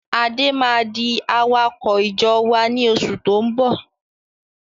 Adé máa di awakọ̀ ìjọ wá ní oṣù tó ń bọ̀